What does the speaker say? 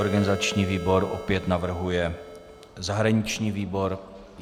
Organizační výbor opět navrhuje zahraniční výbor.